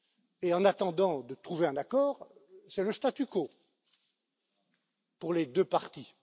Et en attendant de trouver un accord, c'est le statu quo, pour les deux parties.